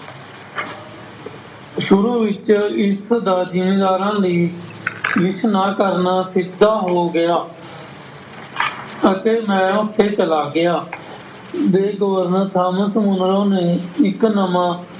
ਸ਼ੁਰੂ ਵਿੱਚ ਇਸ ਜਾਗੀਰਦਾਰਾਂ ਦੀ ਰੀਸ਼ ਨਾ ਕਰਨਾ ਸਿੱਧਾ ਹੋ ਗਿਆ ਅਤੇ ਮੈਂ ਆਪੇ ਚਲਾ ਗਿਆ ਦੇ ਗਵਰਨਰ ਥਾਮਸ ਹੋਣਾ ਨੇ ਇੱਕ ਨਵਾਂ